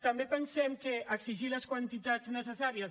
també pensem que exigir les quantitats necessàries